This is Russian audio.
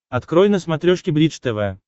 открой на смотрешке бридж тв